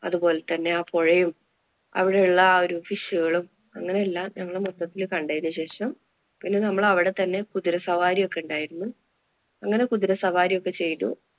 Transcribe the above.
അതുപോലെ തന്നെ ആ പൊഴയും, അവിടെയുള്ള ആ ഒരു fish കളും, അങ്ങനെ എല്ലാം ഞങ്ങള് മൊത്തത്തില് കണ്ടതിനു ശേഷം പിന്നെ നമ്മള് അവിടെത്തന്നെ കുതിരസവാരിയൊക്കെ ഉണ്ടായിരുന്നു. അങ്ങനെ കുതിര സവാരി ഒക്കെ ചെയ്തു.